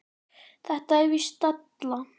Þetta er víst della.